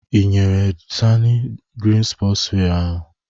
Ị nyere sani the green sport wear?